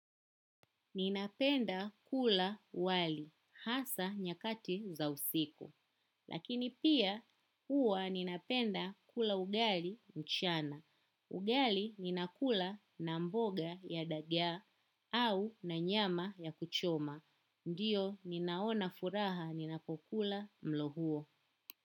Ninapenda kula wali, hasa nyakati za usiku. Lakini pia huwa ninapenda kula wali mchana. Ugali ninakula na mboga ya dagaa au na nyama ya kuchoma. Ndiyo, ninaona furaha ninapokula mlohuo.